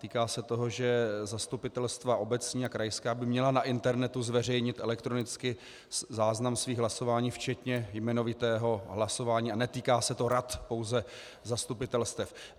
Týká se toho, že zastupitelstva obecní a krajská by měla na internetu zveřejnit elektronicky záznam svých hlasování, včetně jmenovitého hlasování, a netýká se to rad, pouze zastupitelstev.